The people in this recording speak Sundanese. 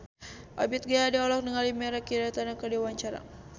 Ebith G. Ade olohok ningali Mirei Kiritani keur diwawancara